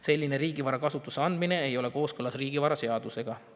Selline riigivara kasutusse andmine ei ole kooskõlas riigivaraseadusega.